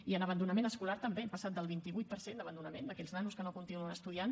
i en abandonament escolar també hem passat del vint vuit per cent d’abandonament d’aquells nanos que no continuen estudiant